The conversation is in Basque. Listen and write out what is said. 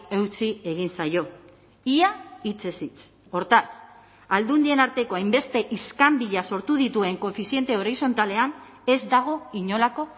eutsi egin zaio ia hitzez hitz hortaz aldundien arteko hainbeste iskanbila sortu dituen koefiziente horizontalean ez dago inolako